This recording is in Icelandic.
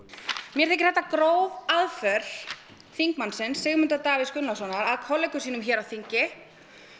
mér þykir þetta gróf aðför þingmannsins Sigmundar Davíðs Gunnlaugssonar að kollegum sínum hér á þingi